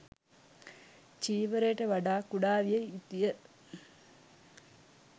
චීවරයට වඩා කුඩා විය යුතුය.